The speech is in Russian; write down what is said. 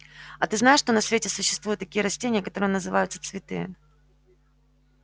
а ты знаешь что на свете существуют такие растения которые называются цветы